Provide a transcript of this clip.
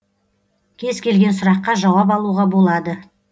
кез келген сұраққа жауап алуға болады